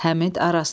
Həmid Araslı.